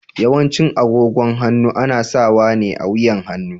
Yawancin agogon hannu ana sawa ne a wuyan hannu.